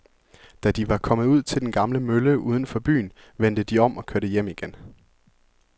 Da de var kommet ud til den gamle mølle uden for byen, vendte de om og kørte hjem igen.